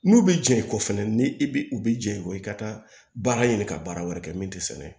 N'u bɛ jɛ i kɔ fɛnɛ ni i bɛ u bɛ jɛ i kɔ i ka taa baara ɲini ka baara wɛrɛ kɛ min tɛ sɛnɛ